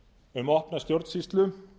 um opna stjórnsýslu